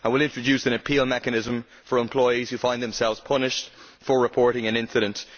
It will introduce an appeal mechanism for employees who find themselves punished for reporting an incident.